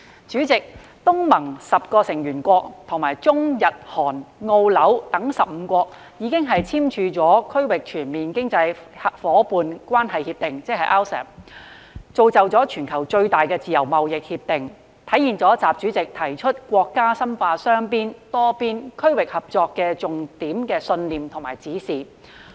主席，東盟十國與中、日、韓、澳、新等15國已經簽署《區域全面經濟伙伴關係協定》，是全球規模最大的自由貿易協定，體現習主席提出的國家深化雙邊、多邊、區域合作的重點信念與指示。